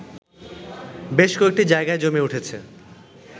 বেশ কয়েকটি জায়গায় জমে উঠেছে